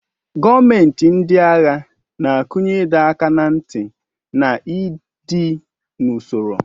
Gọọmenti ndị agha na-akụnye ịdọ aka ná ntị na ịdị n'usoro.